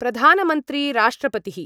प्रधानमंत्री राष्ट्रपतिः